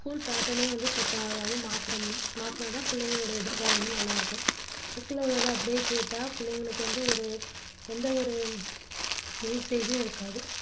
full patten அயும் இப்போ வந்து மாத்தணும்~மாத்தினா தான் புள்ளைங்களோட வந்து எதிர்காலமும்நல்லா இருக்கும் book ல வர்றதை அப்படியே கேட்டா பிள்ளைங்களுக்கு வந்து ஒரு எந்த ஒரு usage உம் இருக்காது